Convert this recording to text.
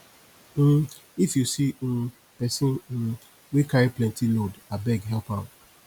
um if you see um pesin um wey carry plenty load abeg help am